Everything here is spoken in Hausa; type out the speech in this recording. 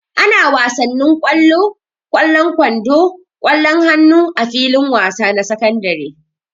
Ana wasanin kwalo, kwallan kwando, kwallon hannu a filin wasa na sakandare.